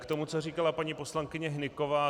K tomu, co říkala paní poslankyně Hnyková.